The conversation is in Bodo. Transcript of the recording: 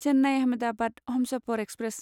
चेन्नाइ आहमेदाबाद हमसफर एक्सप्रेस